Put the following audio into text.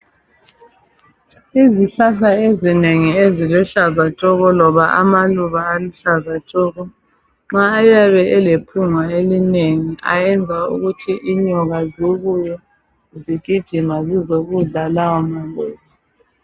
Izihlahla ezinengi eziluhlaza tshoko loba amaluba aluhlaza tshoko nxa ayabe elephunga elinengi ayenza ukuthi inyoka zibuye zigijima zizokudla lawo maluba.